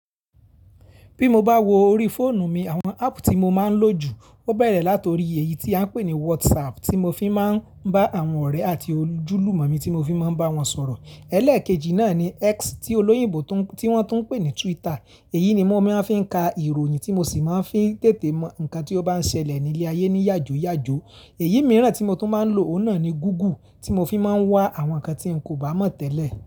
Bí mo bá wo orí fóònù mi, àwọn áàpù tí mo máa ń lò jù, ó bẹ̀rẹ̀ láti orí èyí tí a ń pè ní WhatsApp tí mo fi máa ń bá àwọn ọ̀rẹ́ àti ojúlùmọ̀ mi tí mo fi máa ń bá wọn sọ̀rọ̀. Ẹ̀lẹ́ẹ̀kejì náà ni X tí olóyìnbó tí wọ́n tún ń pè ní Twitter. Èyí ni mo mọ fi ń ka ìròyìn tí mo sì máa ń fi tètè mọ nǹkan tí ó bá ń ṣẹlẹ̀ ní ile ayé ní yàjoyàjo. Èyí mìíràn tí mo tún máa ń lò òun náà ni Google tí mo fi máa ń wá àwọn nǹkan tí n kò bá mọ̀ tẹ́lẹ̀